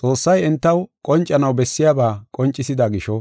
Xoossay entaw qoncanaw bessiyaba qoncisida gisho,